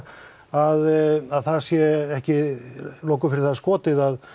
að það sé ekki loku fyrir það skotið að